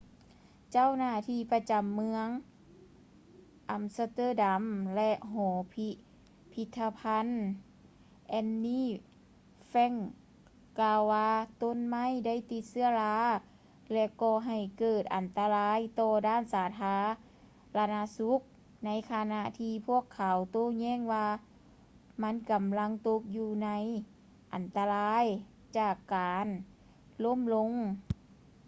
ເຈົ້າໜ້າທີ່ປະຈຳເມືອງ ອຳສະເຕີດຳ ແລະ ຫໍພິພິດທະພັນ anne frank ກ່າວວ່າ ຕົ້ນໄມ້ໄດ້ຕິດເຊື້ອລາ ແລະ ກໍ່ໃຫ້ເກີດອັນຕະລາຍຕໍ່ດ້ານສາທາລະນະສຸກ ໃນຂະນະທີ່ພວກເຂົາໂຕ້ແຍ່ງວ່າ ມັນກຳລັງຕົກຢູ່ໃນອັນຕະລາຍ ຈາກການລົ້ມລົງ